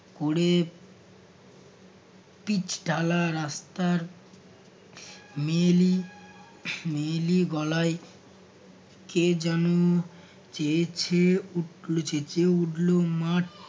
কোরে pitch ঢালা রাস্তার মেয়েলি মেয়েলি গলায় কে যেন চেয়ে ছেয়ে উঠল~ চেঁচিয়ে উঠলো। মাঠ